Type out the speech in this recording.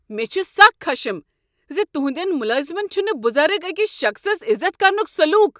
مےٚ چھ سخ خشم زِ تہنٛدین ملازمن چھُنہ بزرگ أکس شخصس عزت کرُنک سلوک۔